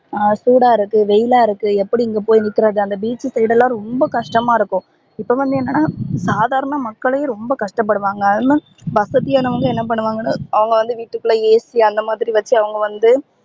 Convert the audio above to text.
ஹம் சூடா இருக்கு வெயிலா இருக்கு எப்படி இங்க போய் நிக்கிறது அந்த beach side லா ரொம்ப கஷ்டமா இருக்கும் இப்போ வந்து என்னனா சாதாரண மக்களே ரொம்ப கஷ்ட படுவாங்க ஏனா வசதியானவங்க என்ன பண்ணுவாங்கனா அவங்க வீட்டு குல்லையே AC அந்த மாதிரி வச்சி அவங்க வந்து